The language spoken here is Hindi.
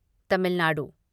तमिल नाडु